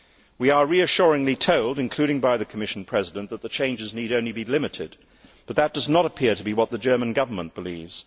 We are reassuringly told, including by the Commission President, that the changes need only be limited, but that does not appear to be what the German Government believes.